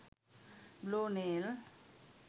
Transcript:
blue nail